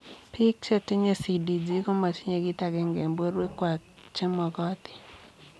Piik chetinyee CDG komatinyee kiit agenge eng porwek kwaak chemogotin